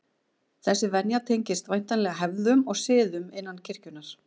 Þessi venja tengist væntanlega hefðum og siðum innan kirkjunnar.